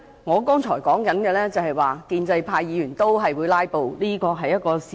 我剛才要說的是，建制派議員同樣會"拉布"，這是事實。